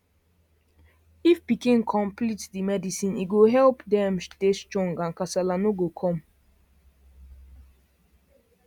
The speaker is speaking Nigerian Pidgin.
if pikin complete tb medicine e go help dem body strong and kasala no go come